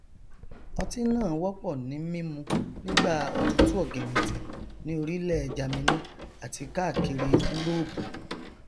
ọtí náà wọpọ ní mímu nígbà òtútù ọgìnìntìn ní orílẹ jamini àti káàkiri úróòpù